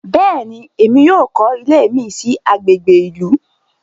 Béèni, Èmí yóò kọ ilé mi sí agbègbè ìlú